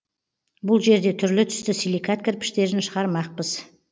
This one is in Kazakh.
бұл жерде түрлі түсті силикат кірпіштерін шығармақпыз